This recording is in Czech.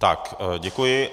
Tak, děkuji.